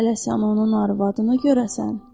Hələ sən onun arvadını görəsən?